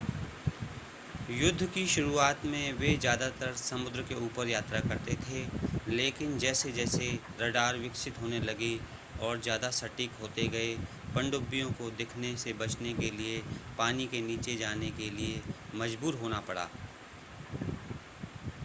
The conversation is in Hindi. युद्ध की शुरुआत में वे ज़्यादातर समुद्र के ऊपर यात्रा करते थे लेकिन जैसे-जैसे रडार विकसित होने लगे और ज़्यादा सटीक होते गए पनडुब्बियों को दिखने से बचने के लिए पानी के नीचे जाने के लिए मज़बूर होना पड़ा